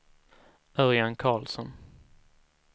Örjan Karlsson